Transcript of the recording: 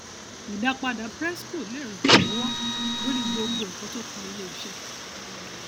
ìdápadà prescos lè ràn lówọ lórí gbogbo nnkan tó kan ilé iṣẹ